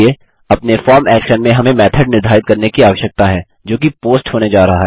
अपने form action में हमें मेथोड निर्धारित करने की आवश्यकता है जोकि पोस्ट होने जा रहा है